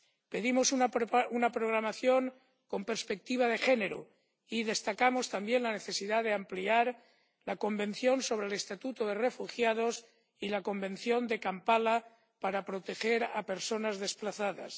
Pedimos una programación con perspectiva de género, y destacamos también la necesidad de ampliar la Convención sobre el Estatuto de los Refugiados y la Convención de Kampala para proteger a las personas desplazadas.